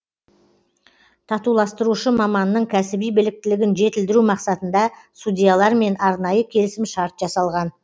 татуластырушы маманның кәсіби біліктілігін жетілдіру мақсатында судьялармен арнайы келісімшарт жасалған